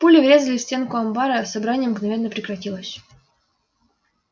пули врезались в стенку амбара собрание мгновенно прекратилось